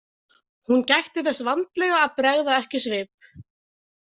Hún gætti þess vandlega að bregða ekki svip.